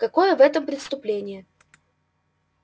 какое в этом преступление